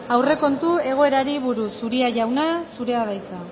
aurrekontu egoerari buruz uria jauna zurea da hitza